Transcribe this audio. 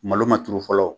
Malo ma turu fɔlɔ